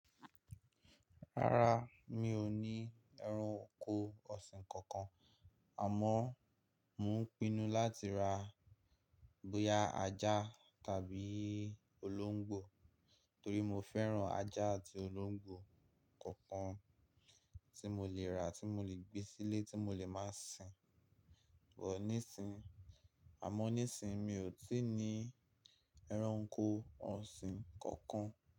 Rárá, mi ò ní ẹran oko ọ̀sìn kankan. Àmọ́, mò ń pinnu láti ra bóyá ajá tàbí olóńgbò torí mo fẹ́ran ajá àti olóńgbò kankan tí mo lè rà tí mo lè gbé sílé tí mo lè má sìn. But nísinyi, àmọ́ nísinyi mi ò tí ì ní ẹran oko ọ̀sìn kankan.